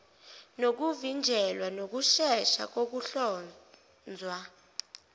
nokuvinjelwa nokushesha kokuhlonzwa